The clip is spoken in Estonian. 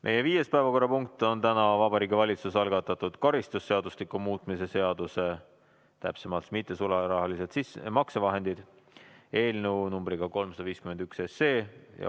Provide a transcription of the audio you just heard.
Meie viies päevakorrapunkt on Vabariigi Valitsuse algatatud karistusseadustiku muutmise seaduse eelnõu numbriga 351.